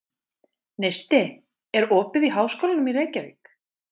Neisti, er opið í Háskólanum í Reykjavík?